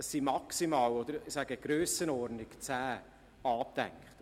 Es sind rund zehn angedacht.